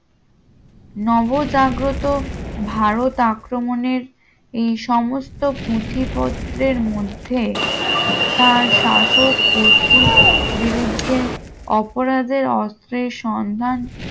নবজাগ্রত ভারত আক্রমণের এই সমস্ত পুঁথিপত্রের মধ্যে তার শাসক গোষ্ঠীর বিরুদ্ধে অপরাধের অস্ত্রের সন্ধান